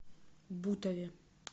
бутове